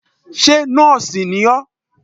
Ṣé nóòsì ni ọ́?